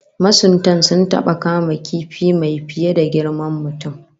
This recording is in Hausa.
Masuntan sun taba kama kifi mai fiye da girman mutum